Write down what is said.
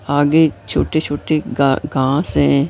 आगे छोटे-छोटे गा घास है।